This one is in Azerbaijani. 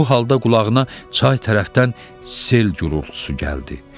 Bu halda qulağına çay tərəfdən sel gurultusu gəldi.